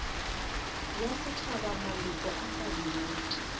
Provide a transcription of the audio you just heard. ya setšhaba maloko a kabinete